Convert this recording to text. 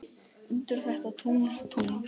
undir þetta tungl, tungl.